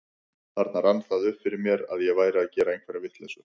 Þarna rann það upp fyrir mér að ég væri að gera einhverja vitleysu.